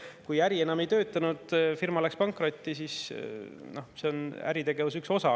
No see, kui äri enam ei tööta, firma läks pankrotti, on äritegevuse üks osa.